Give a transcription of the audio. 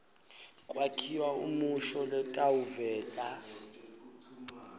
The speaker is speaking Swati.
kwakhiwa umusho lotawuveta